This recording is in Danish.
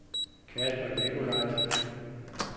Kasper Nicolaisen